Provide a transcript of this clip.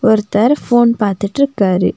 ஒருத்தர் ஃபோன் பார்த்துட்டு இருக்காரு.